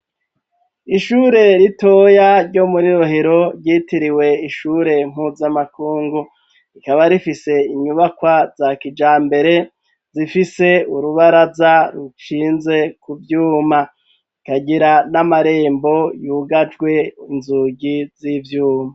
Ishure ritoya ryo muri Rohero, ryitiriwe ishure mpuzamakungu, rikaba rifise inyubakwa za kijambere, zifise urubaraza rushinze ku vyuma, ikagira n'amarembo yugajwe inzugi z'ivyuma.